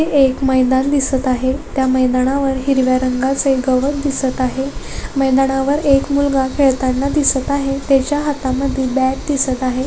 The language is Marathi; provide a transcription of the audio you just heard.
हे एक मैदान दिसत आहे त्या मैदानावर हिरव्या रंगाचे गवत दिसत आहे मैदानावर एक मुलगा खेळताना दिसत आहे त्याच्या हातामध्ये बॅट दिसत आहे.